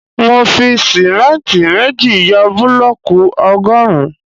Mo fi símẹ́ntì méjì yọ búlọ̀kù ọgọrun